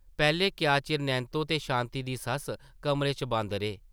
पैह्लें क्या चिर नैंत्तो ते शांति दी सस्स कमरे च बंद रेह् ।